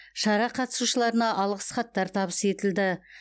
шара қатысушыларына алғыс хаттар табыс етілді